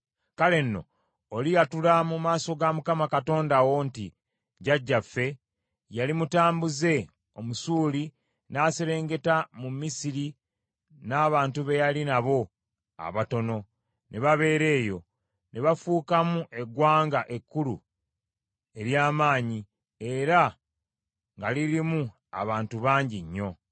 Kale nno oliyatula mu maaso ga Mukama Katonda wo nti, “Jjajjaffe yali mutambuze Omusuuli, n’aserengeta mu Misiri n’abantu be yali nabo abatono, ne babeera eyo, ne bafuukamu eggwanga ekkulu ery’amaanyi era nga lirimu abantu bangi nnyo.